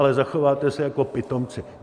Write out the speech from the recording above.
Ale zachováte se jako pitomci.